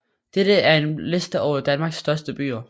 Dette er en liste over Danmarks største byer